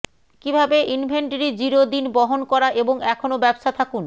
কিভাবে inventory zero দিন বহন করা এবং এখনও ব্যবসা থাকুন